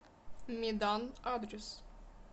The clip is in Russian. медан адрес